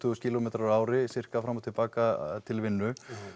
þúsund kílómetrar á ári fram og til baka